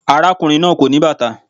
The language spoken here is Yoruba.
Arákùnrin náà kò ní bàtà.